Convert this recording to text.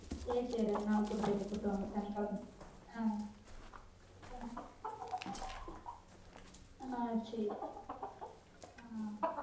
செர் செரி ரெண்டு நாள் கூட்டு போய்ட்டு கூட்டு வாங்க சனிக்கெழம ஆஹ் ஆஹ் செர் செரி ஆஹ்